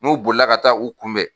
N'u bolila ka taa u kunbɛn